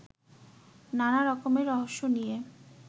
নানা রকমের রহস্য নিয়ে